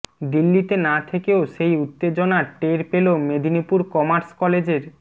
দিল্লিতে না থেকেও সেই উত্তেজনা টের পেল মেদিনীপুর কমার্স কলেজের